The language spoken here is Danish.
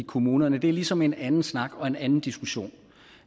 i kommunerne er ligesom en anden snak og en anden diskussion